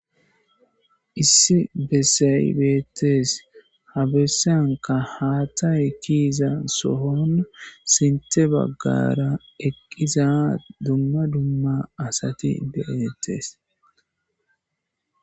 Issi bessayi beettees. Ha bessanka haatha ekiza sohon sinthe baggara eqqiza dumma dumma asati be7ettes.